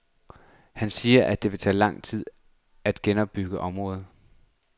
Han siger, at det vil tage lang tid at genopbygge området.